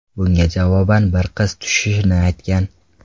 Bunga javoban bir qiz tushishini aytgan.